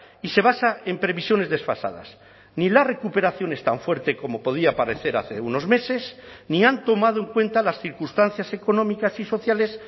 y se basa en previsiones desfasadas ni la recuperación es tan fuerte como podía parecer hace unos meses ni han tomado en cuenta las circunstancias económicas y sociales